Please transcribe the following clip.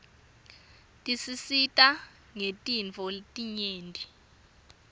tisisita ngetintfo letinyeti